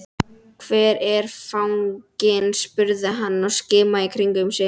Hvar er fanginn? spurði hann og skimaði í kringum sig.